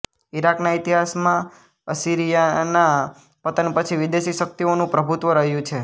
ઇરાકના ઇતિહાસમાં અસીરિયાનાં પતન પછી વિદેશી શક્તિઓનું પ્રભુત્વ રહ્યું છે